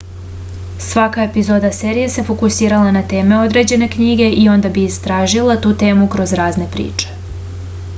svaka epizoda serije se fokusirala na teme određene knjige i onda bi istražila tu temu kroz razne priče